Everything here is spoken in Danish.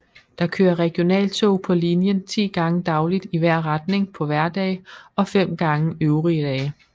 Der kører regionaltog på linjen 10 gange dagligt i hver retning på hverdage og 5 gange øvrige dage